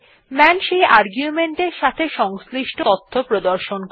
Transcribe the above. মান সেই আর্গুমেন্ট এর সাথে সংশ্লিষ্ট তথ্য প্রদর্শন করে